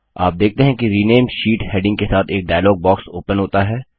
आप देखते हैं कि रिनेम शीट हेडिंग के साथ एक डायलॉग बॉक्स ओपन होता है